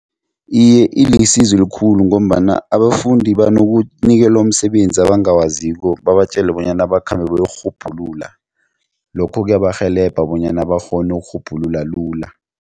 Iye, ilisizo elikhulu ngombana abafundi banokunikelwa umsebenzi abangakwaziko babatjele bonyana bakhambe bayokurhubhulula lokho kuyabarhelebha bonyana bakghone ukurhubhulula lula.